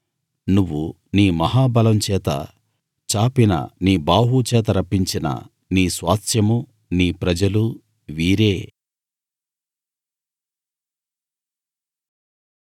నువ్వు నీ మహాబలం చేత చాపిన నీ బాహువు చేత రప్పించిన నీ స్వాస్థ్యమూ నీ ప్రజలూ వీరే